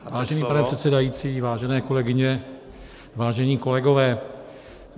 Vážený pane předsedající, vážené kolegyně, vážení kolegové.